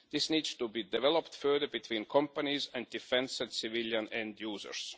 This needs to be developed further between companies and defence and civilian end users.